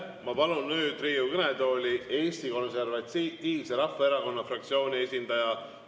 Ma palun nüüd Riigikogu kõnetooli Eesti Konservatiivse Rahvaerakonna fraktsiooni esindaja.